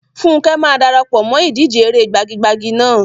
Funke máa dara pọ̀ mọ́ ìdíje eré gbagi-gbagi náà.